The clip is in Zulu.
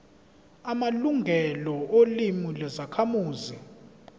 amalungelo olimi lwezakhamuzi